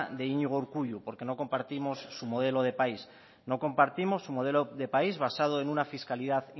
de iñigo urkullu porque no compartimos su modelo de país no compartimos su modelo país basado en una fiscalidad